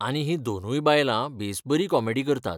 आनी हीं दोनूय बायलां बेस बरी कॉमेडी करतात.